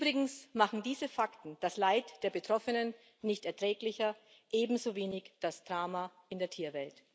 Übrigens machen diese Fakten das Leid der Betroffenen nicht erträglicher, ebenso wenig das Drama in der Tierwelt.